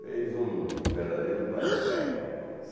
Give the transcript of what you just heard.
Fez um verdadeiro banzé em Bauru.